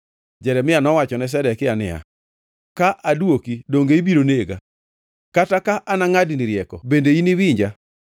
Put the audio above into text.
Jeremia nowachone Zedekia niya, “Ka adwoki, donge ibiro nega? Kata ka anangʼadni rieko, bende iniwinja.”